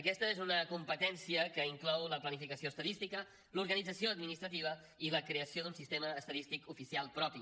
aquesta és una competència que inclou la planificació estadística l’organització administrativa i la creació d’un sistema estadístic oficial propi